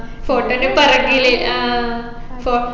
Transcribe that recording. photo നെ പറഞ്ഞില്ലേ ആ ഫൊ